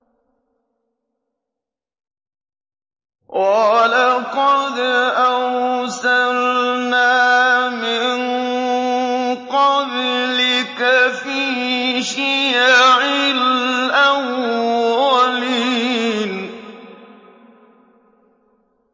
وَلَقَدْ أَرْسَلْنَا مِن قَبْلِكَ فِي شِيَعِ الْأَوَّلِينَ